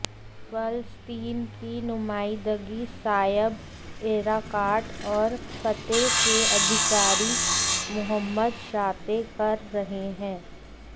फ़लस्तीन की नुमाइंदगी Saeb Erekat और फ़तह के अधिकारी मुहम्मद शातेह कर रहे हैं